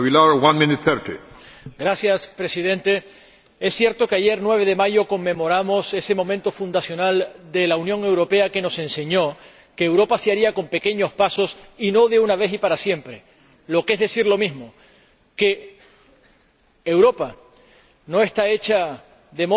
Señor Presidente, es cierto que ayer, 9 de mayo, conmemoramos ese momento fundacional de la Unión Europea que nos enseñó que Europa se haría con pequeños pasos y no de una vez y para siempre, o lo que es lo mismo, que Europa no está hecha de modo